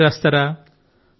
శాయరీలా